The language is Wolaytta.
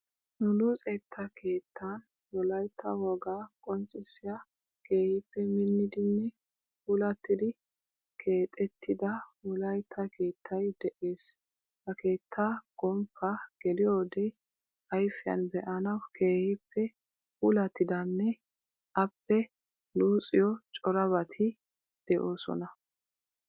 Nu luxettaa keettan wolayitta wogaa qonccissiya keehippe minnidinne puulattida keexettida wolayitta keettayi de'ees. Ha keetta gomppaa geliyode ayfiyan be'anawu keehippe puullatidanne appe luxiyo corabati de'oosona.